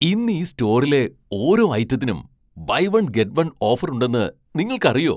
ഇന്ന് ഈ സ്റ്റോറിലെ ഓരോ ഐറ്റത്തിനും buy one get one offer ഉണ്ടെന്ന് നിങ്ങൾക്കറിയോ?